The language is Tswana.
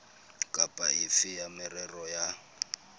kapa efe ya merero ya